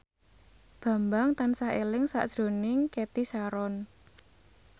Bambang tansah eling sakjroning Cathy Sharon